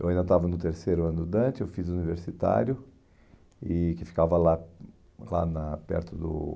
Eu ainda estava no terceiro ano do Dante, eu fiz o universitário e que ficava lá lá na perto do